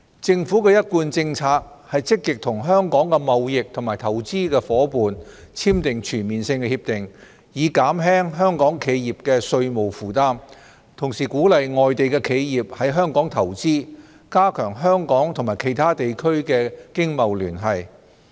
政府的一貫政策是積極與香港的貿易及投資夥伴簽訂全面性協定，以減輕香港企業的稅務負擔，同時鼓勵外地企業在港投資，加強香港與其他地區的經貿聯繫。